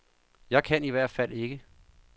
Jeg kan i hvert fald ikke.